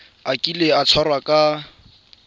a kile a tshwarwa ka